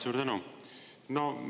Suur tänu!